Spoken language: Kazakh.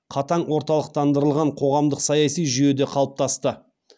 қатаң орталықтандырылған қоғамдық саяси жүйеде қалыптасты